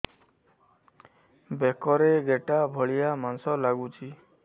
ବେକରେ ଗେଟା ଭଳିଆ ମାଂସ ଲାଗୁଚି